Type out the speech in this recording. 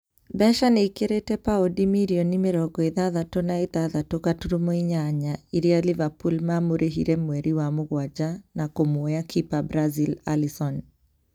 Mbeca nĩikĩrĩte paundi mirioni mĩrongo ithathatũ na ithathatũ gaturumo inyanya irĩa Liverpool mamũrĩhire mweri wa mũgwanja na kũmũoya kipa Brazil Alisson